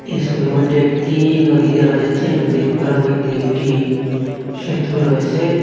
এই ছবির মইধ্যে একটি নদী দেখা যাচ্ছে নদীর ওপরের মইধ্যে একটি সেতু রয়েসে ।